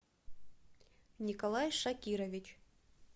николай шакирович